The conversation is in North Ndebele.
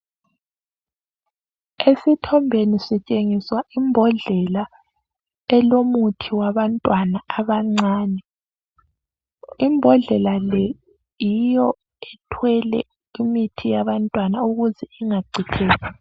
Esithombeni sitshengiswa imbodlela elomuthi wabantwana abancane. Imbodlela le yiyo ethwele umuthi wabantwana ukuze ungachitheki.